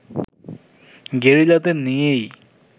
গেরিলাদের নিয়েই